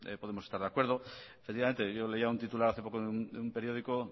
pues podemos estar de acuerdo efectivamente yo leía un titular hace poco en un periódico